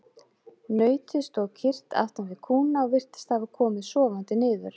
Nautið stóð kyrrt aftan við kúna og virtist hafa komið sofandi niður.